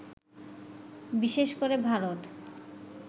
বিশেষ করে ভারত